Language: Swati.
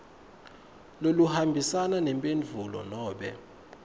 loluhambisana nemphendvulo nobe